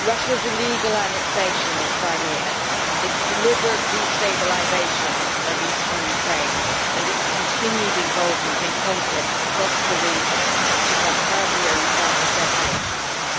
Russia's illegal annexation of Crimea, its deliberate destabilisation of eastern Ukraine and its continued involvement in conflicts across the region, such as Abkhazia and South Ossetia,